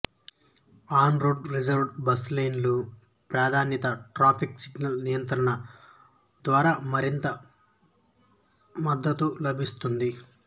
on road reserved bus లేన్లు ప్రాధాన్యతా traffic signal నియంత్రణల ద్వారా మరింత మద్దతు లభిస్తుంది